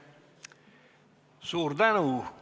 Suur tänu!